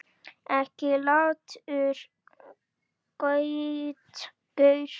Ekki latur gaur!